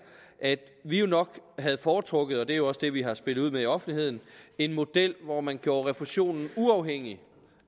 at vi jo nok havde foretrukket og det er også det vi har spillet ud med i offentligheden en model hvor man gjorde refusionen uafhængig